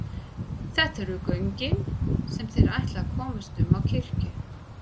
Þetta eru göngin sem þeir ætla að komast um á kirkju.